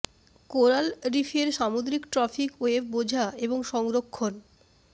coral reef এর সামুদ্রিক trophic web বোঝা এবং সংরক্ষণ